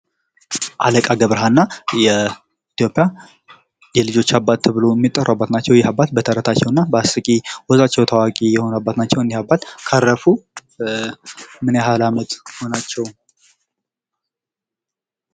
አለቃ ገብረሀና የኢትዮጵያ የልጆች አባት ተብሎ ሚጠሩ አባት ናቸው በተረፈ ይህ አባት በአስቂኝ ወጋቸው ታዋቂ የሆኑ አባት ናቸው። እኒህ አባት ካረፉ ምን ያህል አመት ሆናቸው ?